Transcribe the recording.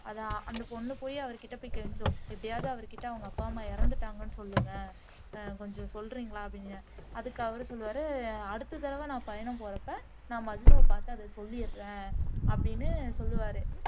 அதை அந்த பொண்ணு போய் அவர்கிட்ட போய் கெஞ்சும் எப்படியாவது அவர்க்கிட்ட அவங்க அப்பா அம்மா இறந்துட்டாங்கன்னு சொல்லுங்க ஆஹ் கொஞ்சம் சொல்றீங்களா அப்படின்னு அதுக்கு அவரு சொல்லுவாரு அடுத்த தடவை நான் பயணம் போறப்ப நான் மஜ்னுவ பார்த்து அதை சொல்லிடுறேன் அப்படின்னு சொல்லுவாரு